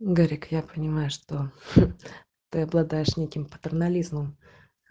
гарик я понимаю что ты обладаешь неким патернализмом